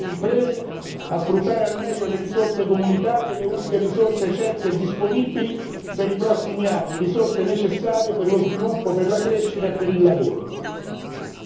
L'Europa deve aiutare le imprese a sfruttare al meglio le risorse comunitarie, le uniche risorse certe e disponibili per i prossimi anni, risorse necessarie per lo sviluppo, per la crescita e per il lavoro.